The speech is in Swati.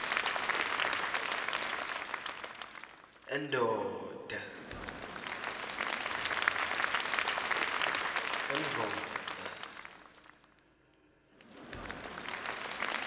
endoda